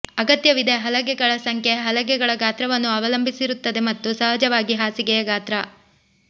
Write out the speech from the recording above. ಅಗತ್ಯವಿದೆ ಹಲಗೆಗಳ ಸಂಖ್ಯೆ ಹಲಗೆಗಳ ಗಾತ್ರವನ್ನು ಅವಲಂಬಿಸಿರುತ್ತದೆ ಮತ್ತು ಸಹಜವಾಗಿ ಹಾಸಿಗೆಯ ಗಾತ್ರ